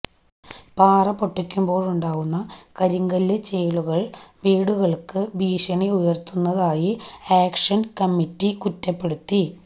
പാറ പൊട്ടിക്കുമ്പോഴുണ്ടാവുന്ന കരിങ്കല് ചീളുകള് വീടുകള്ക്ക് ഭീഷണി ഉയര്ത്തുന്നതായി ആക്ഷന് കമ്മിറ്റി കുറ്റപ്പെടുത്തി